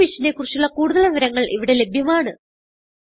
ഈ മിഷനെ കുറിച്ചുള്ള കുടുതൽ വിവരങ്ങൾ ഇവിടെ ലഭ്യമാണ്